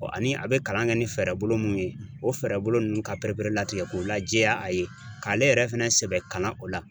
ani a bɛ kalan kɛ ni fɛɛrɛbolo mun ye o fɛɛrɛbolo ninnu ka pereperelatigɛ ko lajɛya a ye k'ale yɛrɛ fɛnɛ sɛbɛ kalan o la